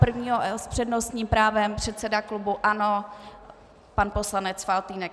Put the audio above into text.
První, s přednostním právem, předseda klubu ANO pan poslanec Faltýnek.